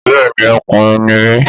Bẹ́ẹ̀ni ọkùnrin ní mí